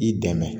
I dɛmɛ